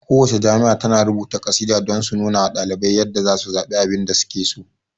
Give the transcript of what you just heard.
Ku wacce jami'a tana rubuta kasida don su nunawa ɗalibai yadda zasu zaɓe abinda suke so